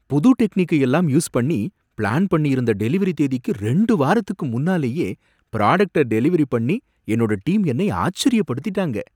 புது டெக்னிக்கை எல்லாம் யூஸ் பண்ணி, பிளான் பண்ணியிருந்த டெலிவரி தேதிக்கு ரெண்டு வாரத்துக்கு முன்னாலேயே புராடக்ட்ட டெலிவரி பண்ணி என்னோட டீம் என்னை ஆச்சரியப்படுத்திட்டாங்க.